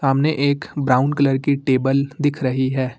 सामने एक brown colour की टेबल दिख रही है।